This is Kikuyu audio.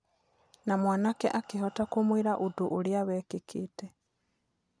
Na mwanake akĩhota kũmwĩra ũndũ ũrĩa wekĩkĩte.